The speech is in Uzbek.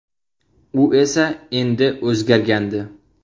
U esa endi o‘zgargandi.